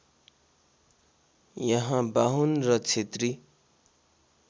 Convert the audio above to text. यहाँ बाहुन र क्षेत्री